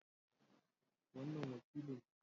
Wannan wakili ne